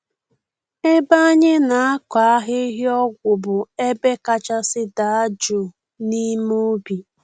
Ebe anyị na-akọ ahịhịa ọgwụ bụ ebe kachasị daa jụụ n’ime ubi.